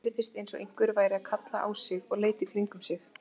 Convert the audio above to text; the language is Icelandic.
Honum heyrðist eins og einhver væri að kalla á sig og leit í kringum sig.